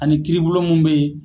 Ani kiribolo mun bɛ yen.